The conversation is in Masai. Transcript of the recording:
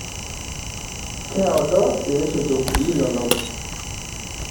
Keado ilisotok linonok.